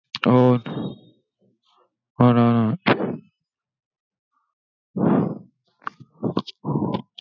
अं हा ना